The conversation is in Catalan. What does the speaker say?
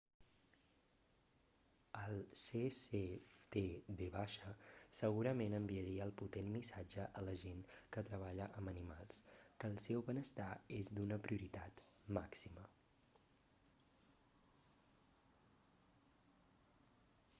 el cctv segurament enviaria el potent missatge a la gent que treballa amb animals que el seu benestar és d'una prioritat màxima